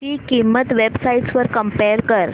ची किंमत web sites वर कम्पेअर कर